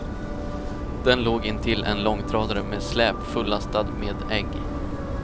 Den låg intill en långtradare med släp fullastad med ägg.